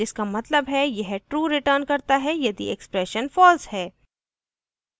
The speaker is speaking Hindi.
* जिसका मतलब है यह true returns करता है यदि expression false है